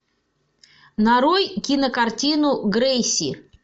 нарой кинокартину грейси